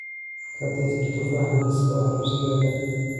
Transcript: ka tirtir tufaax liiska wax iibsigayga